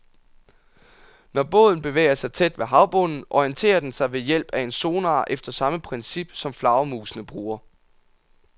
Når båden bevæger sig tæt ved havbunden, orienterer den sig ved hjælp af en sonar efter samme princip, som flagermusene bruger.